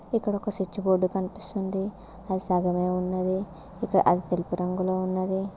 ఇక్కడ ఒక switch board కనిపిస్తుంది అది సగమే ఉన్నది ఇక్కడ అది తెలుపు రంగులో ఉన్నది.